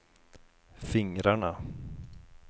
fingrarna